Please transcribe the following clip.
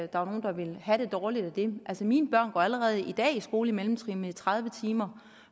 der var nogle der ville have det dårligt med det altså mine børn går allerede i dag i skole på mellemtrinnet i tredive timer